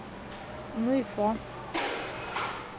ну и что